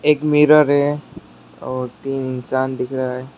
एक मिरर है और तीन इंसान दिख रहा है।